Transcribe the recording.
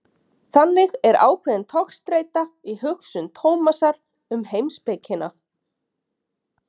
Þannig er ákveðin togstreita í hugsun Tómasar um heimspekina.